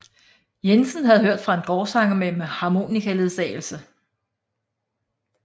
Jensen havde hørt fra en gårdsanger med harmonikaledsagelse